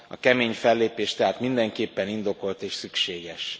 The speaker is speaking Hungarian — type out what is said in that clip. A kemény fellépés tehát mindenképpen indokolt és szükséges.